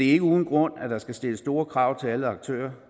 er ikke uden grund at der skal stilles store krav til alle aktører